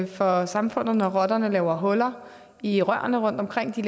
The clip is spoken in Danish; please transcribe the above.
for samfundet når rotterne laver huller i rørene rundtomkring de